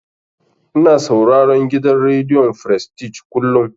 Ina sauraron gidan rediyon frestij kullum.